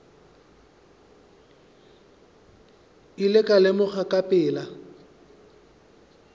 ile ka lemoga ka pela